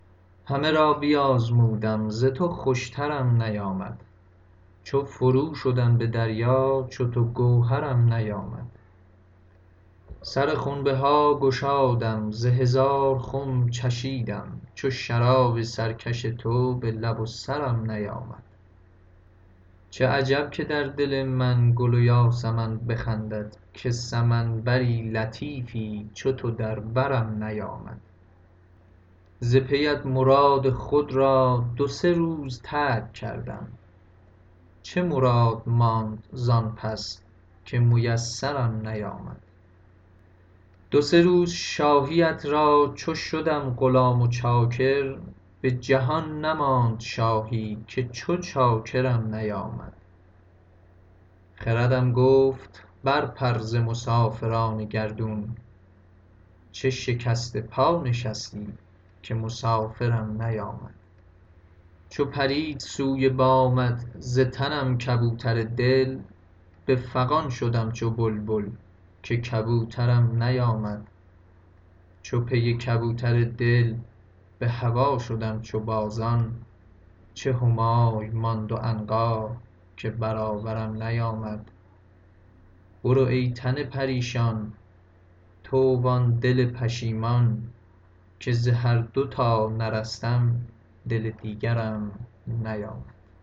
همه را بیازمودم ز تو خوشترم نیامد چو فرو شدم به دریا چو تو گوهرم نیامد سر خنب ها گشادم ز هزار خم چشیدم چو شراب سرکش تو به لب و سرم نیامد چه عجب که در دل من گل و یاسمن بخندد که سمن بر لطیفی چو تو در برم نیامد ز پیت مراد خود را دو سه روز ترک کردم چه مراد ماند زان پس که میسرم نیامد دو سه روز شاهیت را چو شدم غلام و چاکر به جهان نماند شاهی که چو چاکرم نیامد خردم بگفت برپر ز مسافران گردون چه شکسته پا نشستی که مسافرم نیامد چو پرید سوی بامت ز تنم کبوتر دل به فغان شدم چو بلبل که کبوترم نیامد چو پی کبوتر دل به هوا شدم چو بازان چه همای ماند و عنقا که برابرم نیامد برو ای تن پریشان تو و آن دل پشیمان که ز هر دو تا نرستم دل دیگرم نیامد